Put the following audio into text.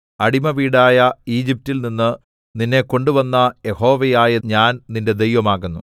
അടിമവീടായ ഈജിപ്റ്റിൽ നിന്ന് നിന്നെ കൊണ്ടുവന്ന യഹോവയായ ഞാൻ നിന്റെ ദൈവം ആകുന്നു